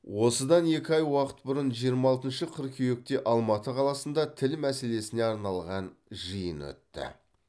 осыдан екі ай уақыт бұрын жиырма алтыншы қыркүйекте алматы қаласында тіл мәселесіне арналған жиын өтті